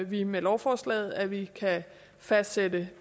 vi med lovforslaget at vi kan fastsætte